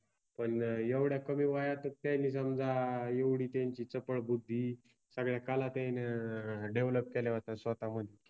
पण एवढ्या कमी वयातच त्यानि समजा एवढि त्यांचि चपळ बुद्धि, सगळ्या कला त्यायन डेवलप केल्या होत्या स्वताहोऊन.